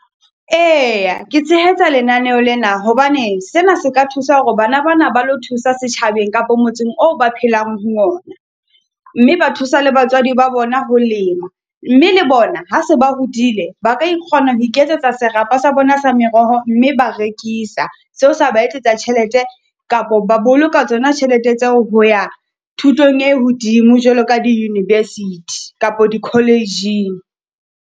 Eya ke tshehetsa lenaneho lena, hobane sena se ka thusa hore bana ba na ba lo thusa setjhabeng kapo motseng oo ba phelang ho ona. Mme ba thusa le batswadi ba bona ho lema mme le bona ha se ba hodile. Ba ka kgona ho iketsetsa serapa sa bona sa meroho, mme ba rekisa. Seo sa ba etsetsa tjhelete kapo ba boloka tsona tjhelete tseo ho ya thutong e hodimo jwalo ka di-university kapo di college-ing.